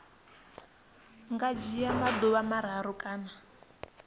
nga dzhia maḓuvha mararu kana